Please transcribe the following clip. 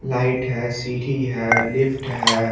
Light है सीढ़ी है लिफ्ट है।